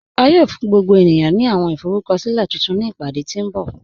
À yóò fún gbogbo ènìyàn ní àwọn ìforúkọ̀silẹ̀ tuntun ni ìpádé tí nbọ̀.